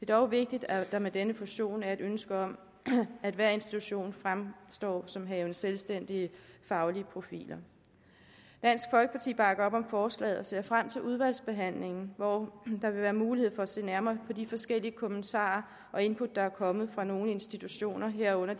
dog vigtigt at der med denne fusion er et ønske om at hver institution fremstår som havende selvstændige faglige profiler dansk folkeparti bakker op om forslaget og ser frem til udvalgsbehandlingen hvor der vil være mulighed for at se nærmere på de forskellige kommentarer og input der er kommet fra nogle institutioner herunder